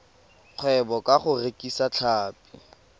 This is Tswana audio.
kgwebo ka go rekisa tlhapi